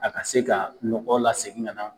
A ka se ka nɔgɔ lasegin ka na